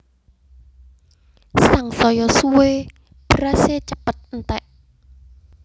Sangsaya suwé berasé cepet enték